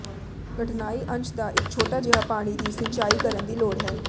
ਕਠਨਾਈ ਅੰਸ਼ ਦਾ ਇੱਕ ਛੋਟਾ ਜਿਹਾ ਪਾਣੀ ਦੀ ਸਿੰਚਾਈ ਕਰਨ ਦੀ ਲੋੜ ਹੈ